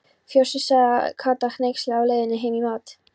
Fossi, sagði Kata hneyksluð á leiðinni heim í mat.